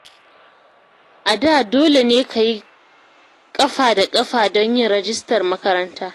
A da dole ne ka yi ƙafa da ƙafa don yin rajistar makaranta